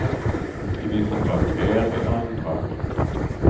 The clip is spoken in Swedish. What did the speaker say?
I vissa fall mer, i andra mindre.